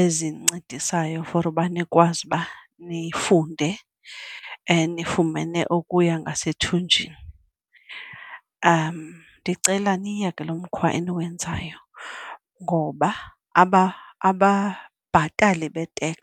ezincedisayo for uba nikwazi uba nifunde nifumene ukuya ngasethunjini. Ndicela niyeke lo mkhwa eniwenzayo ngoba ababhatali be-tax